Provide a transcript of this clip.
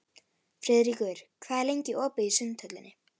Friðríkur, hvað er lengi opið í Sundhöllinni?